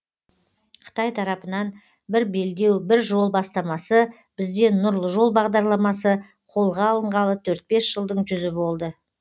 қытай тарапынан бір белдеу бір жол бастамасы бізден нұрлы жол бағдарламасы қолға алынғалы төрт бес жылдың жүзі болды